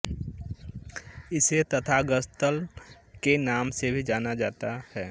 इसे तथागत त्सल के नाम से भी जाना जाता है